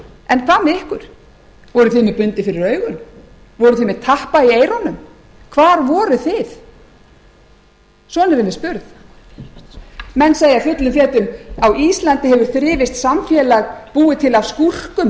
en hvað með ykkur voruð þið með bundið fyrir augun voruð þið með tappa í eyrunum hvar voruð þið svona erum við spurð menn segja fullum fetum á íslandi hefur þrifist samfélag búið til af